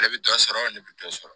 Ale bɛ dɔ sɔrɔ ale bɛ dɔ sɔrɔ